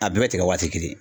A bɛɛ bɛ tigɛ waati kelen.